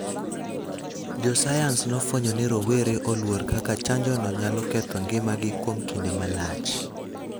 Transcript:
Jo sayans nofwenyo ni rowere oluor kaka chanjono nyalo ketho ngimagi kuom kinde malach,